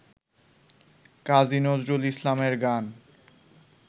কাজী নজরুল ইসলামের গান